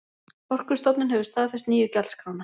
Orkustofnun hefur staðfest nýju gjaldskrána